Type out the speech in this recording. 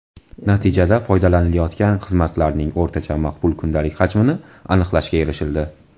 Natijada foydalanilayotgan xizmatlarning o‘rtacha maqbul kundalik hajmini aniqlashga erishildi.